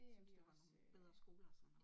Vi synes der var nogen bedre skoler og sådan noget